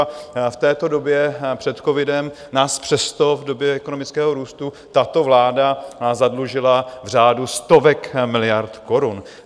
A v této době před covidem nás přesto v době ekonomického růstu tato vláda zadlužila v řádu stovek miliard korun.